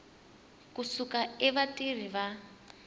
ku suka eka vatirhi va